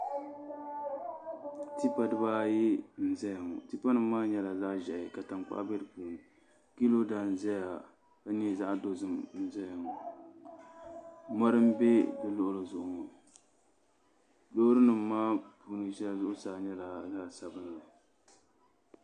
Tipa dibaayi n ʒɛya ŋo tipa nim maa nyɛla zaɣ ʒiɛhi ka tankpaɣu bɛ di puuni piiroda n ʒɛya n nyɛ zaɣ dozim ʒɛya ŋo mori n bɛ di luɣuli zuɣu ŋo loori nim maa puuni shɛli zuɣusaa nyɛla zaɣ sabinli